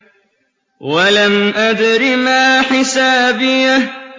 وَلَمْ أَدْرِ مَا حِسَابِيَهْ